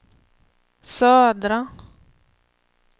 södra